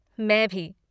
मैं भी।